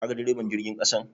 Kaga deriban jirgin ƙasan?